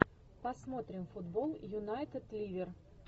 посмотрим футбол юнайтед ливер